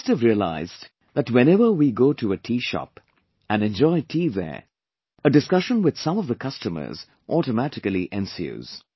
You must have realized that whenever we go to a tea shop, and enjoy tea there, a discussion with some of the customers automatically ensues